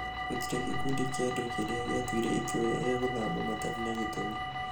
gũtire gĩkundi kia andũ kĩria gĩatuire itua ria gũthama matarĩ na gĩtũmi.